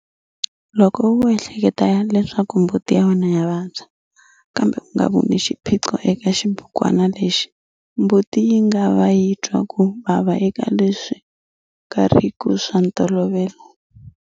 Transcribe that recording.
Loko u ehleketa leswaku mbuti ya wena ya vabya kambe u nga voni xiphiqo eka xibukwana lexi, mbuti yi nga va yi twa ku vava eka leswi nga ri ki swa ntolovelo.